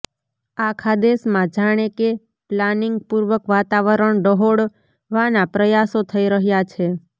આખા દેશમાં જાણે કે પ્લાનિંગપૂર્વક વાતાવરણ ડહોળવાના પ્રયાસો થઈ રહ્યા છે